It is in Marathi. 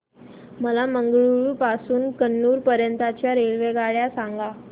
मला मंगळुरू पासून तर कन्नूर पर्यंतच्या रेल्वेगाड्या सांगा